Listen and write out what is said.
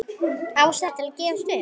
Ástæður til að gefast upp?